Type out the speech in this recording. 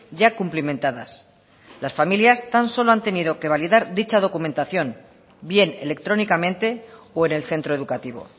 ya cumplimentadas las familias tan solo han tenido que validar dicha documentación bien electrónicamente o en el centro educativo